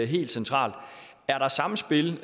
helt centralt er der samspil